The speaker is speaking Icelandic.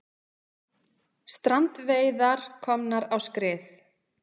Strandveiðar komnar á skrið